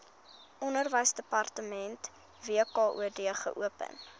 onderwysdepartement wkod geopen